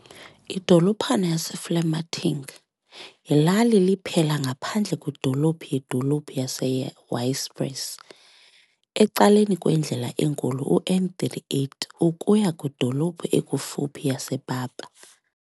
Idolophana yaseVlamertinge yilali liphela ngaphandle kwidolophu yedolophu yaseYpres, ecaleni kwendlela enkulu uN38 ukuya kwidolophu ekufuphi yasePapa.